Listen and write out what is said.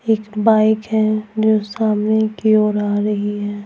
एक बाइक है जो सामने की ओर आ रही है।